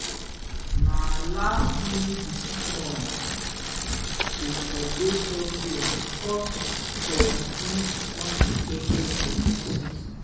na last-minute decision to upgrade software dey cause some of these unexpected expenses.